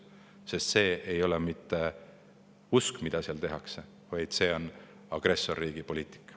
Sest see, mida seal tehakse, ei ole mitte usk, vaid on agressorriigi poliitika.